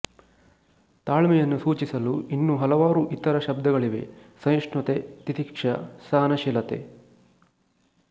ತಾಳ್ಮೆಯನ್ನು ಸೂಚಿಸಲು ಇನ್ನೂ ಹಲವಾರು ಇತರ ಶಬ್ದಗಳಿವೆ ಸಹಿಷ್ಣುತೆ ತಿತಿಕ್ಷ ಸಹನಶೀಲತೆ